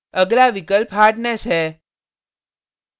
अगला विकल्प hardness hardness है